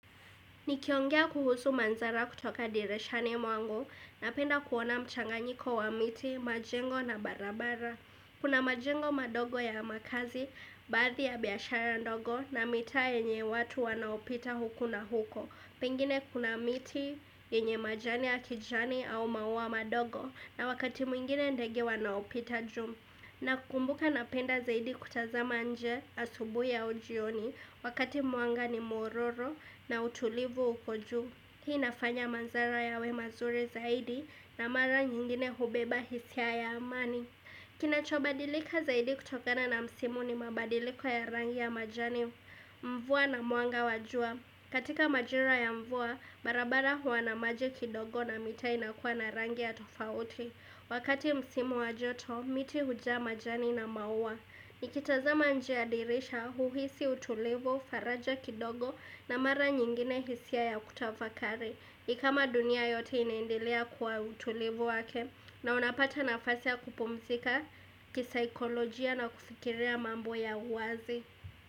Nikiongea kuhusu mandhara kutoka dirishani mwangu napenda kuona mchanganyiko wa miti, majengo na barabara. Kuna majengo madogo ya makazi, baadhi ya biashara ndogo na mitaa yenye watu wanaopita huku na huko. Pengine kuna miti yenye majani ya kijani au maua madogo na wakati mwingine ndege wanaopita juu. Nakumbuka napenda zaidi kutazama nje asubuhi au jioni wakati mwanga ni mororo na utulivu uko juu. Hii inafanya mandhara yawe mazuri zaidi na mara nyingine hubeba hisia ya amani. Kinachobadilika zaidi kutokana na msimu ni mabadiliko ya rangi ya majani mvua na mwanga wa jua. Katika majira ya mvua, barabara huwa na maji kidogo na mitaa inakuwa na rangi ya tofauti. Wakati msimu wa joto, miti hujaa majani na maua Nikitazama nje ya dirisha huhisi utulivu, faraja kidogo na mara nyingine hisia ya kutafakari ni kama dunia yote inaendelea kwa utulivu wake na unapata nafasi ya kupumzika, kisaikolojia na kufikiria mambo ya uwazi.